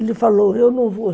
Ele falou, eu não vou.